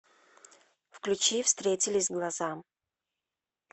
включи встретились глаза